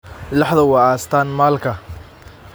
Laxdu waa astaan maalka.